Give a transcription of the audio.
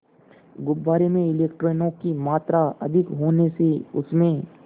गुब्बारे में इलेक्ट्रॉनों की मात्रा अधिक होने से उसमें